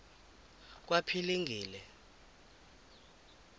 kwaphilingile